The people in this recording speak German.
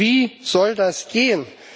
Wie soll das gehen?